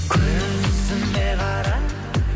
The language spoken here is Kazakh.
көзіме қара